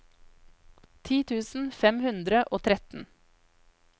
ti tusen fem hundre og tretten